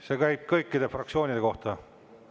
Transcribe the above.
See käib kõikide fraktsioonide kohta.